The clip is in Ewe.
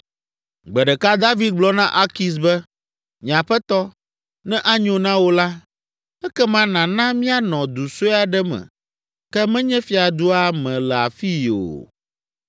Gbe ɖeka David gblɔ na Akis be, “Nye aƒetɔ, ne anyo na wò la, ekema nàna míanɔ du sue aɖe me ke menye fiadua me le afii o.”